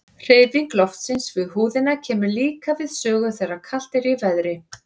Hreyfing loftsins við húðina kemur líka við sögu þegar kalt er í veðri.